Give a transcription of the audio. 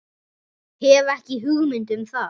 Hef ekki hugmynd um það.